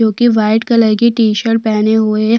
जोकि white colour की T - shirt पहने हुए है |